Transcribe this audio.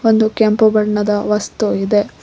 ಒಂದು ಕೆಂಪು ಬಣ್ಣದ ವಸ್ತು ಇದೆ.